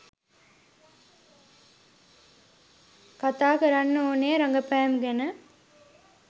කතා කරන්න ඕනේ රඟපෑම ගැන.